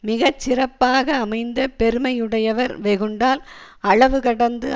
மிக சிறப்பாக அமைந்த பெருமையுடையவர் வெகுண்டால் அளவு கடந்து